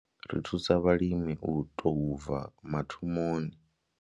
Ri thusa vhalimi u tou bva mathomoni.